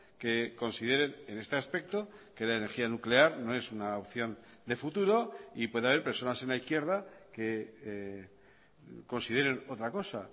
que consideren en este aspecto que la energía nuclear no es una opción de futuro y puede haber personas en la izquierda que consideren otra cosa